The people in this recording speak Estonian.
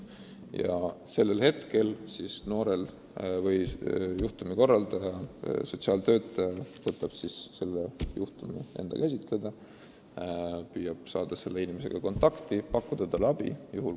Ja kohe asubki juhtumikorraldajast sotsiaaltöötaja seda juhtumit käsitlema, püüab selle inimesega kontakti saada ja talle abi pakkuda.